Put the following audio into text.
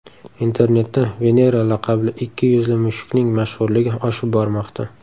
Internetda Venera laqabli ikki yuzli mushukning mashhurligi oshib bormoqda.